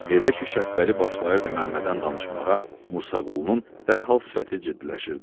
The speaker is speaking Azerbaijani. Elə ki Şəpbəli başlayırdı Məmmədən danışmağa, Musa Qulunun dərhal sifəti ciddiləşirdi.